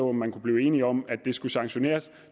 om man kunne blive enige om at det skulle sanktioneres